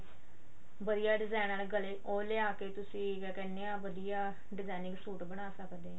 ਵਧੀਆ design ਆਲੇ ਗਲੇ ਉਹ ਲਿਆ ਕੇ ਤੁਸੀਂ ਕਿਆ ਕਹਿੰਦੇ ਆ ਵਧੀਆ designing ਸੂਟ ਬਣਾ ਸਕਦੇ ਆ